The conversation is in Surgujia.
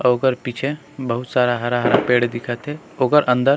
अऊ ओकर पीछे बहुत सारा हरा-हरा पेड़ दिखत हे ओकर अंदर--